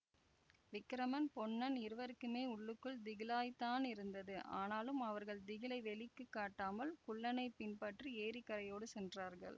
விக்கிரமன் பொன்னன் இருவருக்குமே உள்ளுக்குள் திகிலாய்த்தானிருந்தது ஆனாலும் அவர்கள் திகிலை வெளிக்கு காட்டாமல் குள்ளனைப் பின்பற்றி ஏரிக்கரையோடு சென்றார்கள்